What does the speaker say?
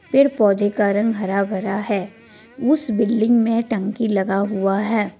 पेड़ पौधे का रंग हरा भरा है उस बिल्डिंग में टंकी लगा हुआ है।